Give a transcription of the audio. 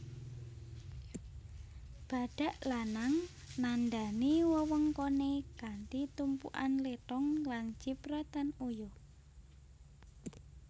Badhak lanang nandhani wewengkoné kanthi tumpukan lethong lan cipratan uyuh